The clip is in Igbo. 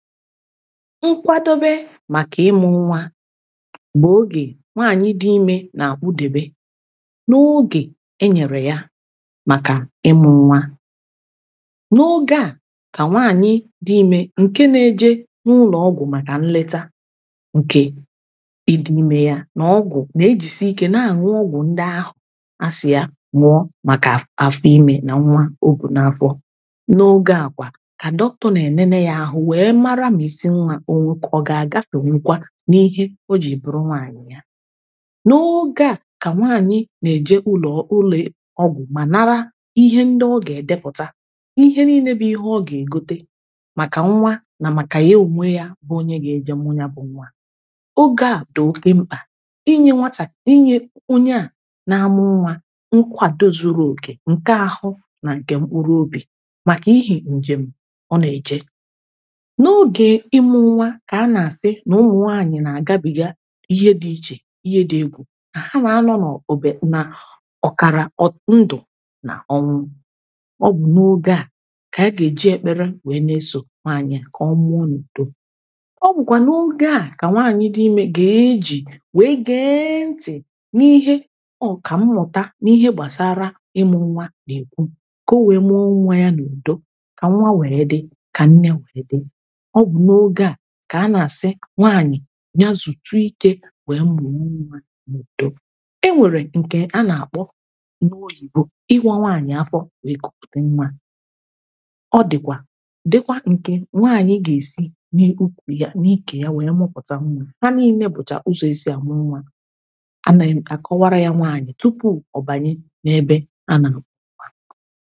nkwadobė maka imu nwaa mgbe oge nwaanyi dị ime na idobe n’oge e nyere ya maka imu nwa n’oge a ka nwaanyi dị ime nke na-eje n’ụlọọgwụ maka nleta nke i dị ime ya na ọgwụ na-ejisi ike na-anyi ọgwụ ndị ahụ a si ya nwụọ maka afọ ime na nwa ogwu na-afọ n’oge akwa ka dr. na enene ya ahụ nwa ọ bụ̀ nkà ịgȧ nà-àkwà ịbụ̇tụ̇ nkwà màọ̀bụ̀ nkwà ịbụ̇tụ̇ nkwà ịbụ̇tụ̇ nkwà ịbụ̇tụ̇ nkwà ịbụ̇tụ̇ nkwà ịbụ̇tụ̇ nkwà ịbụ̇tụ̇ nkwà ịbụ̇tụ̇ nkwà ịbụ̇tụ̇ nkwà ịbụ̇tụ̇ nkwà ịbụ̇tụ̇ nkwà ịbụ̇tụ̇ nkwà ịbụ̇tụ̇ nkwà ịbụ̇tụ̇ nkwà ịbụ̇tụ̇ nkwà ịbụ̇tụ̇ nkwà nà-àkwà ịbụ̇tụ̇ nkwà ịbụ̇tụ̇ nkwà ịbụ̇tụ̇ nkwà nà-àkwà ịmụ nwa ka a na-asị n’ụmụ nwaanyị na agabiga ihe dị iche ihe dị egwù ka ha na-anọ na ọ na ọkara ndụ na ọnwụ ọgwụ n’oge a ka ya ga-eji ekpere wee na-eso nwaanyị ka ọmụ ọ n’udo ọ bụkwanụ oge a ka nwaanyị dị ime ga-eji wee ga-eenti n’ihe ọ ka mmụta n’ihe gbasara ịmụ nwa na-ekwu ka owere mụọ nwa ya n’udo ka nwa wee dị ka nne wee dị ka a na-asị nwaanyị nya zuchu ike wee mbụ inwedo e nwere nke a na-akpọ n’ oyibo ịgwọ nwaanyị afọ wee kupute nwa ọ dịkwa dịkwa nke nwaanyị ga-esi na ukwu ihe na ike ya wee mụpụta nwa ha na-eme ebecha ụzọ esi ya wee nwa a na-emekọwara ya nwaanyị tupu ọbanye n’ebe a na-amụkwa